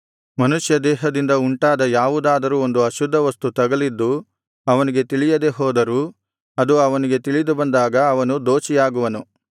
ಮನುಷ್ಯದೇಹದಿಂದ ಉಂಟಾದ ಯಾವುದಾದರೂ ಒಂದು ಅಶುದ್ಧವಸ್ತು ತಗಲಿದ್ದು ಅವನಿಗೆ ತಿಳಿಯದೆ ಹೋದರೂ ಅದು ಅವನಿಗೆ ತಿಳಿದುಬಂದಾಗ ಅವನು ದೋಷಿಯಾಗುವನು